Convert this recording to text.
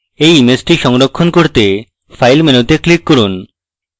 এই ইমেজটি সংরক্ষণ করতে file মেনুতে click করুন